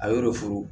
A ye de furu